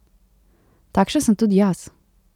Takšen sem tudi jaz.